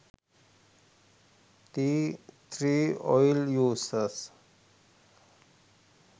tea tree oil uses